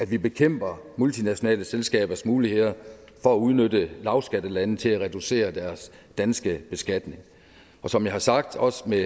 vi bekæmper multinationale selskabers muligheder for at udnytte lavskattelande til at reducere deres danske beskatning som jeg har sagt også med